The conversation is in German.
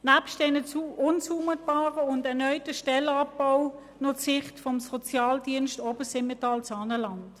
Nebst dem unzumutbaren und erneuten Stellenabbau schildere ich Ihnen noch die Sicht des Sozialdienstes ObersimmentalSaanenland.